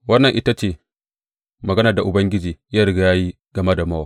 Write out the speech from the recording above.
Wannan ita ce maganar da Ubangiji ya riga ya yi game da Mowab.